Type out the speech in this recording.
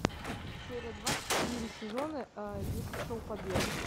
серия двадцать четыре сезона десять шоу побег